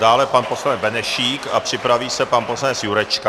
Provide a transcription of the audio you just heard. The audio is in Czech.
Dále pan poslanec Benešík a připraví se pan poslanec Jurečka.